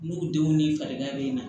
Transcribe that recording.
N'u denw ni farigan bɛ na